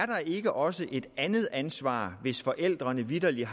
der ikke også er et andet ansvar hvis forældrene vitterligt